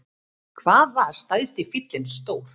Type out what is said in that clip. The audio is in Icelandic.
Hvað var stærsti fíllinn stór?